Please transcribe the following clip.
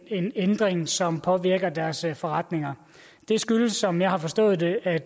en ændring som påvirker deres forretninger det skyldes som jeg har forstået det at